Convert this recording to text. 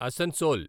Asansol